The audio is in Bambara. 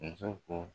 Muso ko